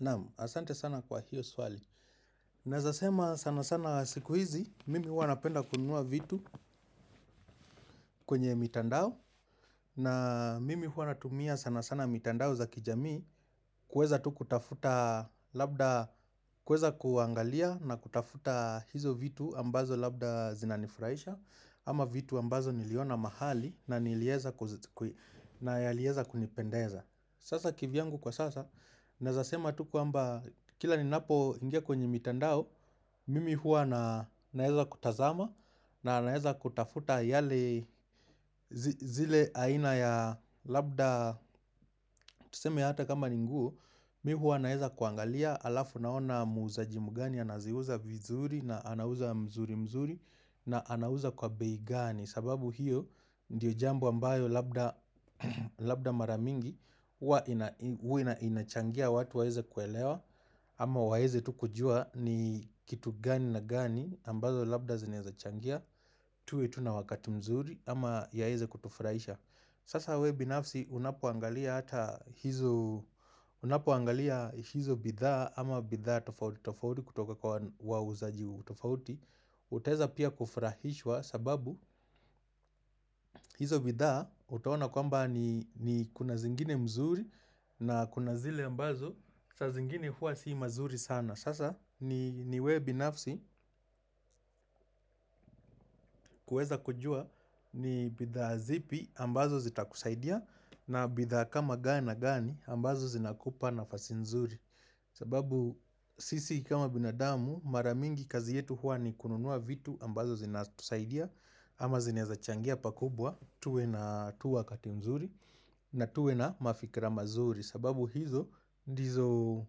Naamu, asante sana kwa hiyo swali. Naweza sema sana sana siku hizi, mimi huwa napenda kunua vitu kwenye mitandao. Na mimi huwa natumia sana sana mitandao za kijami kweza tu kutafuta labda, kweza kuangalia na kutafuta hizo vitu ambazo labda zinanifuraisha. Ama vitu ambazo niliona mahali na yaliyoweza kunipendeza. Sasa kivyangu kwa sasa, naweza sema tu kwa mba kila ninapoingia kwenye mitandao, mimi huwa na naweza kutazama na naweza kutafuta yale zile aina ya labda, tuseme hata kama ni nguo, mimi huwa naweza kuangalia alafu naona muzaji mgani, anaziuza vizuri na anauza mzuri mzuri na anauza kwa bei gani. Sababu hiyo ndiyo jambo ambayo labda mara mingi ua inachangia watu waweze kuelewa Ama waweze tu kujua ni kitu gani na gani ambazo labda zinaweza changia tuwe tu na wakati mzuri ama yaweze kutufraisha Sasa wewe binafsi unapoangalia hata hizo bidhaa Ama bidhaa tofauti kutoka kwa wauzaji utofauti utaweza pia kufrahiswa sababu hizo bidhaa utaona kwamba ni kuna zingine mzuri na kuna zile ambazo saa zingine huwa si mazuri sana Sasa ni wewe binafsi kuweza kujua ni bidhaa zipi ambazo zitakusaidia na bidha kama gani na gani ambazo zinakupa nafasi mzuri sababu sisi kama binadamu mara mingi kazi yetu huwa ni kununua vitu ambazo zinatusaidia Ama zinaweza changia pakubwa, tuwe na tu wakati mzuri na tuwe na mafikira mazuri sababu hizo, ndizo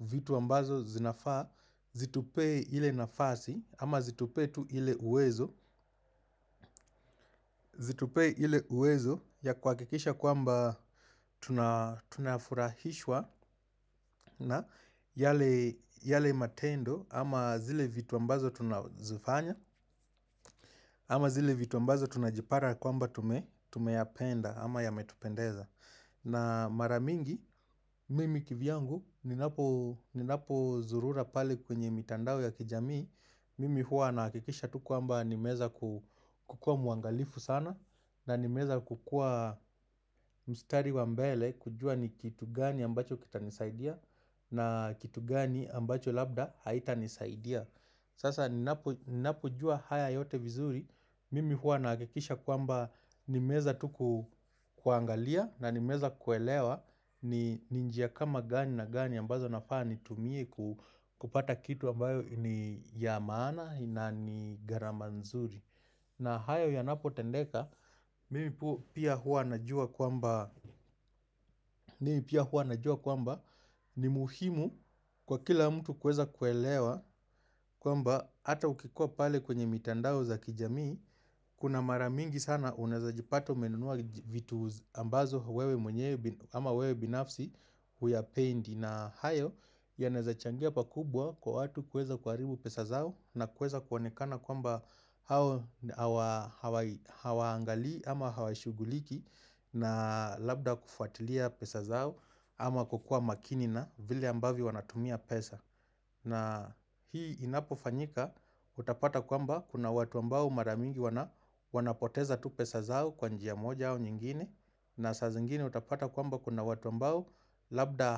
vitu ambazo zinafaa, zitupe ile nafasi ama zitupe ile uwezo Zitupe hile uwezo ya kuhakikisha kwamba tunafurahishwa na yale matendo Ama zile vitu ambazo tunazifanya ama zile vitu ambazo tunajipata kwamba tumeyapenda Ama yametupendeza na mara mingi, mimi kivyangu Ninapozurura pale kwenye mitandao ya kijamii Mimi huwa na hakikisha tu kwamba nimeweza kukuwa muangalifu sana na nimeweza kukuwa mstari wa mbele kujua ni kitu gani ambacho kitanisaidia na kitu gani ambacho labda haitanisaidia Sasa ninapojua haya yote vizuri Mimi huwa na hakikisha kwamba nimeweza tuku kuangalia na nimeza kuelewa ni njia kama gani na gani ambazo nafaa nitumie kupata kitu ambayo ni ya maana na ni garama nzuri na hayo yanapotendeka, mimi pia huwa najua kwamba ni muhimu kwa kila mtu kuweza kuelewa kwamba ata ukikuwa pale kwenye mitandao za kijamii Kuna mara mingi sana unaweza jipata umenunua vitu ambazo wewe mwenyewe Ama wewe binafsi huyapendi na hayo yanaweza changia pakubwa kwa watu kuweza kuharibu pesa zao na kuweza kuonekana kwamba hawaangali ama hawashuguliki na labda kufuatilia pesa zao ama kukuwa makini na vile ambavyo wanatumia pesa na hii inapofanyika utapata kwamba kuna watu ambao mara mingi wanapoteza tu pesa zao kwa njia moja au nyingine na saa zingine utapata kwamba kuna watu ambao labda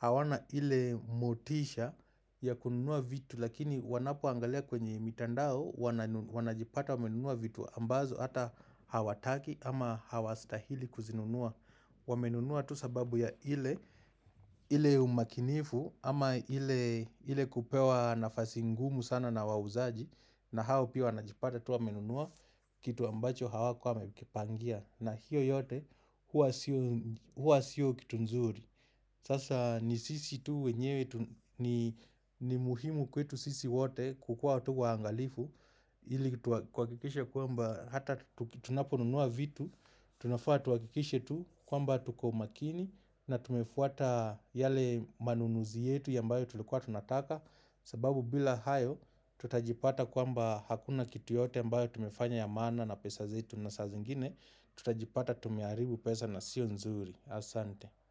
hawana ile motisha ya kununua vitu lakini wanapoangalia kwenye mitandao wanajipata wamenunua vitu ambazo hata hawataki ama hawastahili kuzinunua Wamenunua tu sababu ya ile umakinifu ama ile kupewa nafasi ngumu sana na wauzaji na hao pia wanajipata tu wamenunua kitu ambacho hawakuwa wamekipangia na hiyo yote huwa siyo kitu nzuri Sasa ni sisi tu wenyewe ni muhimu kwetu sisi wote kukuwa tu waangalifu ili tuhakikisha kwamba hata tunaponunua vitu tunafaa tuhakikisha tu kwamba tuko makini na tumefuata yale manunuzi yetu ambayo tulikuwa tunataka sababu bila hayo tutajipata kwamba hakuna kitu yote ambayo tumefanya ya maana na pesa zetu na saa zingine Tutajipata tumeharibu pesa na siyo nzuri Asante.